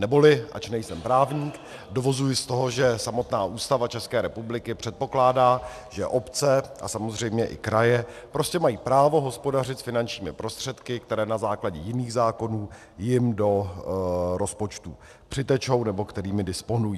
Neboli, ač nejsem právník, dovozuji z toho, že samotná Ústava České republiky předpokládá, že obce a samozřejmě i kraje prostě mají právo hospodařit s finančními prostředky, které na základě jiných zákonů jim do rozpočtu přitečou, nebo kterými disponují.